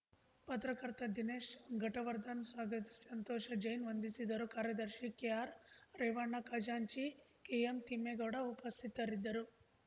ಪತ್ರಕರ್ತ ದಿನೇಶ್ ಘಟವರ್ಧನ್‌ ಸ್ವಾಗತಿಸಿ ಸಂತೋಷ ಜೈನ್‌ ವಂದಿಸಿದರು ಕಾರ್ಯದರ್ಶಿ ಕೆಆರ್ ರೇವಣ್ಣ ಖಜಾಂಚಿ ಕೆ ಎಂ ತಿಮ್ಮೇಗೌಡ ಉಪಸ್ಥಿತರಿದ್ದರು